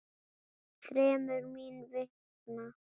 Þremur. mín vegna.